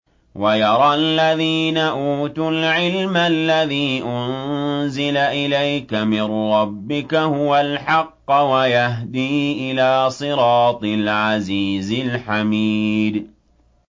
وَيَرَى الَّذِينَ أُوتُوا الْعِلْمَ الَّذِي أُنزِلَ إِلَيْكَ مِن رَّبِّكَ هُوَ الْحَقَّ وَيَهْدِي إِلَىٰ صِرَاطِ الْعَزِيزِ الْحَمِيدِ